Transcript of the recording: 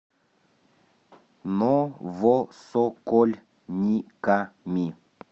новосокольниками